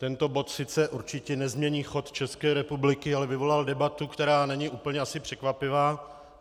Tento bod sice určitě nezmění chod České republiky, ale vyvolal debatu, která není asi úplně překvapivá.